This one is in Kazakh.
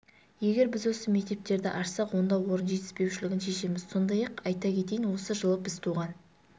егер біз осы мектептерді ашсақ онда орын жетіспеушілігін шешеміз сондай-ақ айта кетейін осы жылы біз туған